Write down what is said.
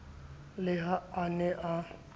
le ha a ne a